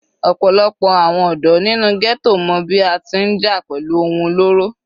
Ọ̀pọ̀lọpọ̀ àwọn ọ̀dọ́ nínú ghetto mọ bí a ti ń jà pẹ̀lú ohun olóró.